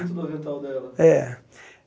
Cinto da ventral dela. É